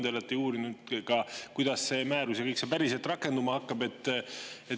Te olete uurinud ka, kuidas see määrus ja kõik see päriselt rakenduma hakkab.